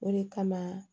O de kama